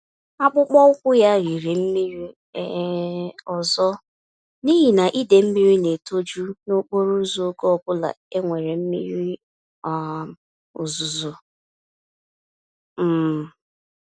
Akpụkpọ ụkwụ ya riri mmiri um ọzọ n'ihi na idee mmírí n'etoju nokporo ụzọ ógè obula enwere mmiri um ozuzo um